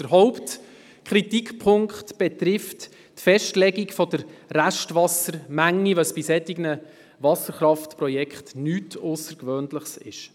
Der Hauptkritikpunkt betrifft die Festlegung der Restwassermenge, was bei solchen Wasserkraftprojekten nichts Aussergewöhnliches ist.